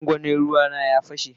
gwangwani ruea na ya pashe.